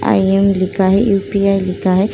आई am लिखा है। UPI. लिखा है।